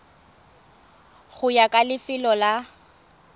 go ya ka lefelo la